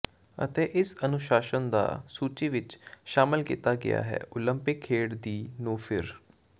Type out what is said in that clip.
ਅਤੇ ਇਸ ਅਨੁਸ਼ਾਸਨ ਦਾ ਸੂਚੀ ਵਿਚ ਸ਼ਾਮਲ ਕੀਤਾ ਗਿਆ ਹੈ ਓਲੰਪਿਕ ਖੇਡ ਦੀ ਨੂੰ ਫਿਰ